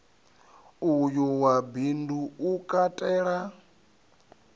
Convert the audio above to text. uyu wa bindu u katela